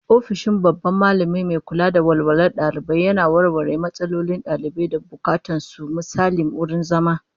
Ofishin babban Mallami mai kula da walwalar dalibai yana warware matsalolin dalibai da bukatun su, misali wurin zama